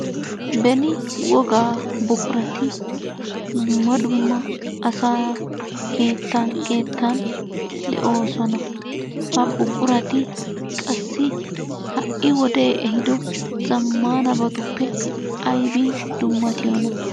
Beni wogaa buqurati dumma dumma asaa keettan keettan de'oosona. Ha buqurati qassi ha"i wodee ehiido zammaanabatuppe aybin dummatiyonaa?